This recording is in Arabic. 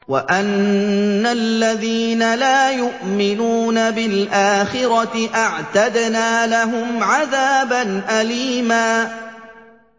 وَأَنَّ الَّذِينَ لَا يُؤْمِنُونَ بِالْآخِرَةِ أَعْتَدْنَا لَهُمْ عَذَابًا أَلِيمًا